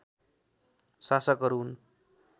शासकहरू हुन्